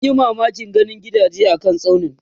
munji mamakin ganin gidaje a kan tsaunin